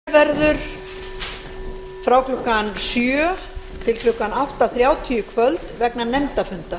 forseti vill láta þess getið að hlé verður frá klukkan nítján til klukkan tuttugu þrjátíu í kvöld vegna nefndarfunda